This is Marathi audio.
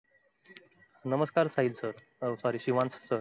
नमस्कार Sahil sir sorry uh sorry Shivansh sir